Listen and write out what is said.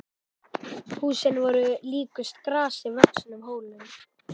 Húsin voru líkust grasi vöxnum hólum.